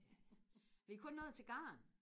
vi er kun nået til garn